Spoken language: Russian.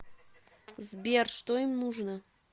сбер что им нужно